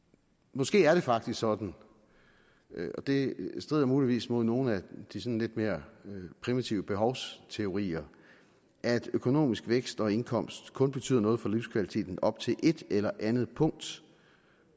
måske er det faktisk sådan og det strider muligvis mod nogle af de sådan lidt mere primitive behovsteorier at økonomisk vækst og indkomst kun betyder noget for livskvaliteten op til et eller andet punkt